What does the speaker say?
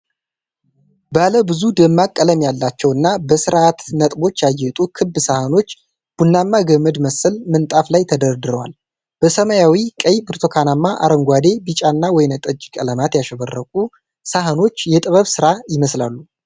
ባለብዙ ደማቅ ቀለም ያላቸው እና በሥርዓተ ነጥቦች ያጌጡ ክብ ሳህኖች ቡናማ ገመድ መሰል ምንጣፍ ላይ ተደርድረዋል። በሰማያዊ፣ ቀይ፣ ብርቱካናማ፣ አረንጓዴ፣ ቢጫና ወይንጠጅ ቀለማት ያሸበረቁት ሳህኖች የጥበብ ሥራ ይመስላሉ።